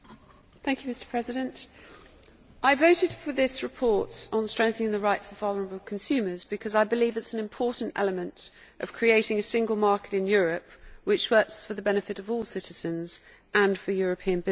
Mr President, I voted for this report on strengthening the rights of vulnerable consumers because I believe it is an important element of creating a single market in Europe which works for the benefit of all citizens and for European business.